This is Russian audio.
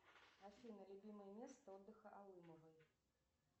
афина любимое место отдыха алымовой